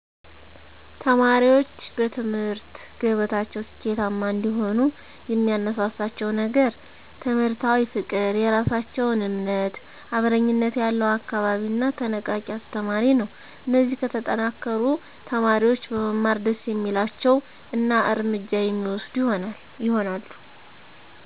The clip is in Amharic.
ተማሪዎች በትምህርት ገበታቸው ስኬታማ እንዲሆኑ የሚያነሳሳቸው ነገር ትምህርታዊ ፍቅር፣ የራሳቸውን እምነት፣ አብረኝነት ያለው አካባቢ እና ተነቃቂ አስተማሪ ነው። እነዚህ ከተጠናከሩ፣ ተማሪዎች በመማር ደስ የሚላቸው እና እርምጃ የሚወስዱ ይሆናሉ።